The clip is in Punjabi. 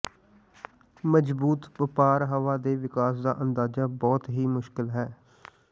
ਮਜ਼ਬੂਤ ਵਪਾਰ ਹਵਾ ਦੇ ਵਿਕਾਸ ਦਾ ਅੰਦਾਜ਼ਾ ਬਹੁਤ ਹੀ ਮੁਸ਼ਕਲ ਹੈ